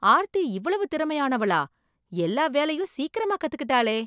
ஆர்த்தி இவ்வளவு திறமையானவளா?! எல்லா வேலையும் சீக்கிரமாக கத்துக்கிட்டாளே!